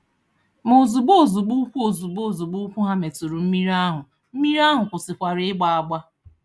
Ma ozugbo ozugbo ụkwụ ozugbo ozugbo ụkwụ ha metụrụ mmiri ahụ, mmiri ahụ kwụsịwara ịgba agba.